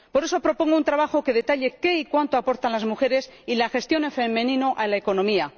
Por eso propongo un trabajo que detalle qué y cuánto aportan las mujeres y la gestión en femenino a la economía.